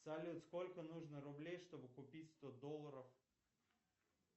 салют сколько нужно рублей чтобы купить сто долларов